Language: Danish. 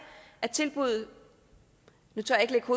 at tilbuddet